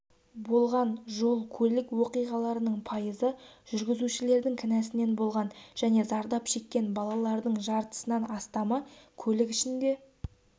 болған жол-көлік оқиғаларының пайызы жүргізушілердің кінәсінен болған және зардап шеккен балалардың жартысынан астамы көлік ішінде